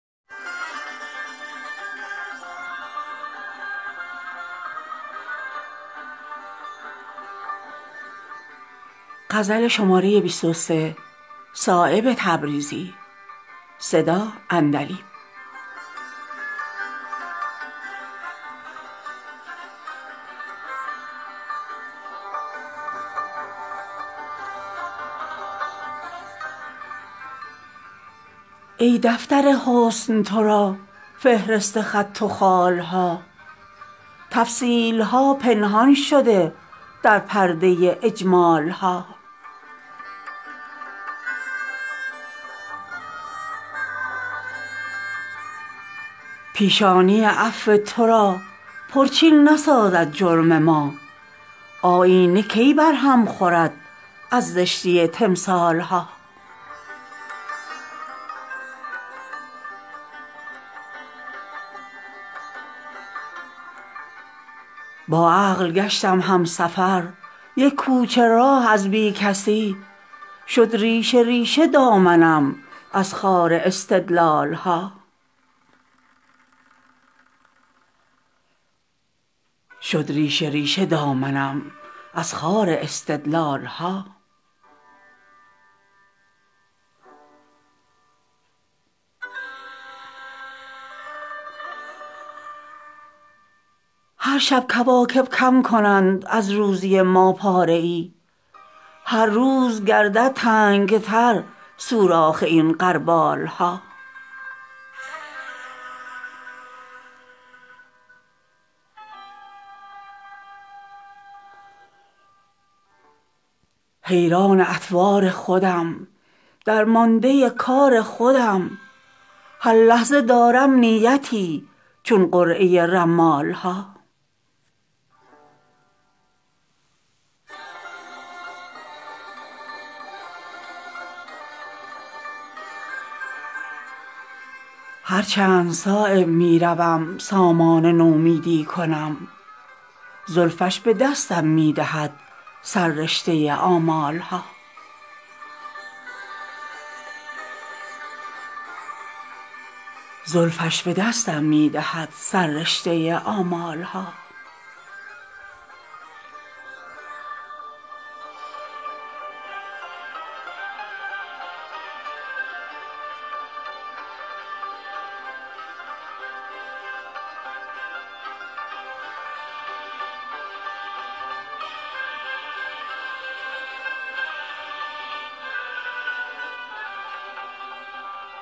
ای دفتر حسن ترا فهرست خط و خال ها تفصیل ها پنهان شده در پرده اجمال ها آتش فروز قهر تو آیینه دار لطف تو هم مغرب ادبارها هم مشرق اقبال ها پیشانی عفو ترا پرچین نسازد جرم ما آیینه کی بر هم خورد از زشتی تمثال ها سهل است اگر بال و پری نقصان این پروانه شد کان شمع سامان می دهد از شعله زرین بال ها با عقل گشتم هم سفر یک کوچه راه از بی کسی شد ریشه ریشه دامنم از خار استدلال ها هرشب کواکب کم کنند از روزی ما پاره ای هرروز گردد تنگ تر سوراخ این غربال ها حیران اطوار خودم درمانده کار خودم هر لحظه دارم نیتی چون قرعه رمال ها هرچند صایب می روم سامان نومیدی کنم زلفش به دستم می دهد سررشته آمال ها